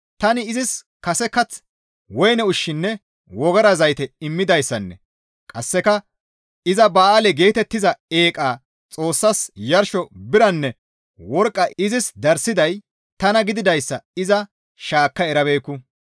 Tani izis kase kath, woyne ushshinne wogara zayte immidayssanne qasseka iza ba7aale geetettiza eeqa xoossas yarsho biranne worqqa izis darssiday tana gididayssa iza shaakka erabeekku.